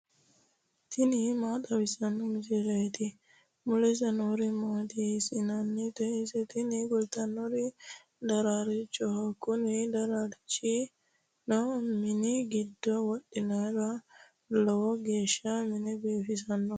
tini maa xawissanno misileeti ? mulese noori maati ? hiissinannite ise ? tini kultannori daraarchoho. kuni daraarchino mini goddo wodhinoro lowo geeshsha mine biifisannoho.